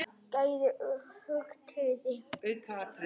Gæði aukaatriði?